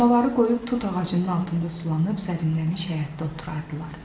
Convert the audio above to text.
Samavarı qoyub tut ağacının altında sulanıb sərinləşmiş həyətdə oturardılar.